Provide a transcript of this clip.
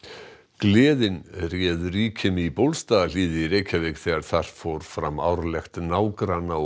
gleðin réð ríkjum í Bólstaðarhlíð í Reykjavík þegar þar fór fram árlegt nágranna og